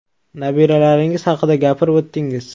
Nabiralaringiz haqida gapirib o‘tdingiz.